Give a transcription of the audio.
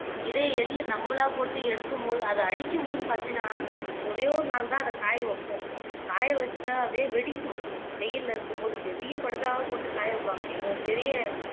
இதே எள்ளு நம்பளா போட்டு எடுக்கும்போது அத அடிக்கும்போது பாத்தன்னா ஒரே ஒரு நாள் தான் அத காய வைப்போம் காய வச்சா அப்படியே வெடிக்கும் வெயில்ல இருக்கும்போது பெரிய படுதாவா போட்டு காய வப்பாங்க எங்க பெரிய